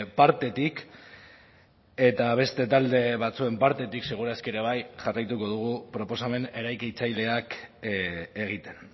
partetik eta beste talde batzuen partetik seguru aski ere bai jarraituko dugu proposamen eraikitzaileak egiten